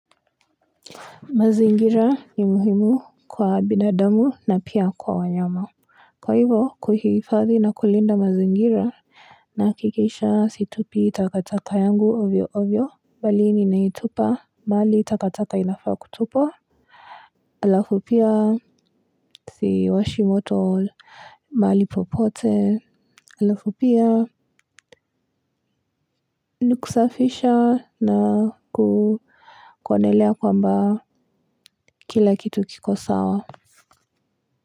Mazingira ni muhimu kwa binadamu na pia kwa wanyama kwa hivyo kuhifadhi na kulinda mazingira nahakikisha situpi takataka yangu ovyo ovyo bali ninaitupa mahali takataka inafaa kutupwa halafu pia siwashi moto mahali popote alafu pia ni kusafisha na kuonelea kwamba kila kitu kiko sawa.